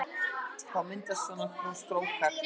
Þá myndast svona strókar